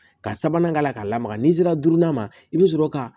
Ka sabanan k'a la k'a lamaga n'i sera durunan ma i bi sɔrɔ ka